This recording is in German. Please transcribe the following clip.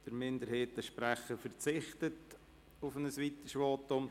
Der Sprecher der Kommissionsminderheit verzichtet auf ein weiteres Votum.